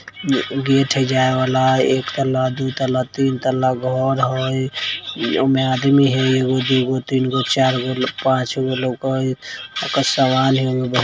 gate है जाए वाला एक तला दो तला तीन तला घर है आउमे आदमी है एक गो दो गो तीन गो चार गो पांच गो लोक है हो ओकर समान हाए --